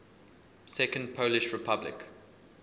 second polish republic